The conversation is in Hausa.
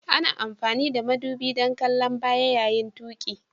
Ana amfani da madubi don kallon baya yayin tuƙi.